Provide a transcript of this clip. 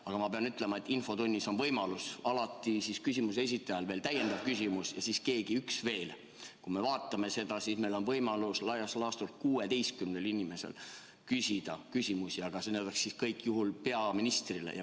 Aga ma pean ütlema, et kuna infotunnis on küsimuse esitajal võimalus alati ka täiendav küsimus esitada ja siis saab keegi veel, on laias laastus võimalik küsimusi küsida 16 inimesel ja kõik need küsimused peaksid sel juhul olema peaministrile.